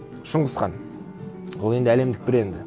шыңғыс хан ол енді әлемдік бренді